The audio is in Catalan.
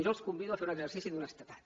jo els convido a fer un exercici d’honestedat